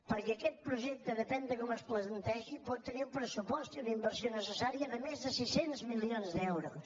perquè aquest projecte depèn de com es plantegi pot tenir un pressupost i una inversió necessària de més de sis cents milions d’euros